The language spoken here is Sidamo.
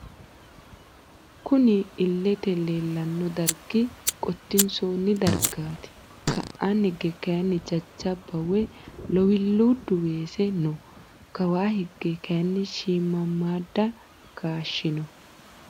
Kunni illete leelano darigi qotisoonni darigati ka'aani higge kayiini jajjaba woyi lowiliidu weese no kawaa higge kayiini shiimamadu kaashshi no.